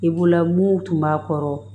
I bolo mun tun b'a kɔrɔ